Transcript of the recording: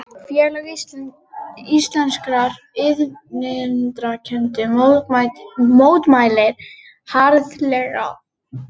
Félag íslenskra iðnrekenda mótmælti harðlega